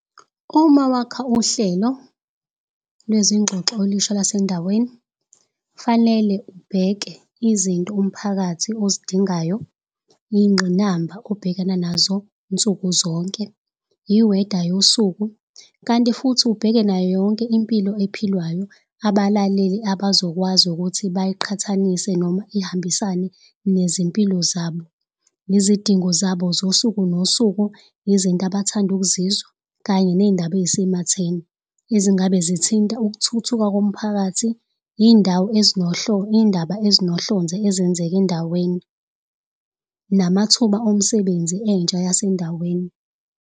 Uma wakha uhlelo lwezingxoxo olusha lwasendaweni kufanele ubheke izinto umphakathi ozidingayo iy'nqinamba obhekana nazo nsuku zonke. Iweda yosuku kanti futhi ubheke nayo yonke impilo ephilwayo abalaleli abazokwazi ukuthi bayiqhathanise noma ihambisane nezimpilo zabo. Nezidingo zabo zosuku nosuku, izinto abathanda ukuzizwa kanye ney'ndaba ey'sematheni ezingabe zithinta ukuthuthuka komphakathi. Iy'ndawo iy'ndaba ezinohlonze ezenzeka endaweni, namathuba omsebenzi entsha yasendaweni.